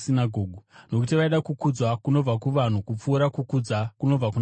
nokuti vaida kukudzwa kunobva kuvanhu kupfuura kukudzwa kunobva kuna Mwari.